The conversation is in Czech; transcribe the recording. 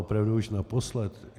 Opravdu už naposled.